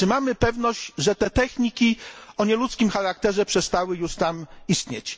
Czy mamy pewność, że te techniki o nieludzkim charakterze przestały już tam istnieć?